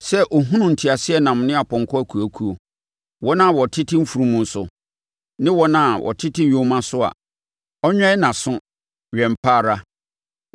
Sɛ ɔhunu nteaseɛnam ne apɔnkɔ akuakuo, wɔn a wɔtete mfunumu so ne wɔn a wɔtete nyoma so a, ɔnwɛn nʼaso wɛn pa ara.”